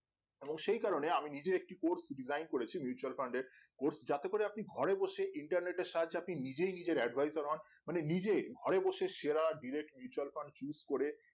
অবশ্য এ কারণে আমি নিজে একটি port decide করেছি mutual Fund এর course যাতে করে আপনি ঘরে বসে internet এর সাহায্যে আপনি নিজেই নিজের advisor মানে নিজেই ঘরে বসে সেরা direct Mutual Fund use করে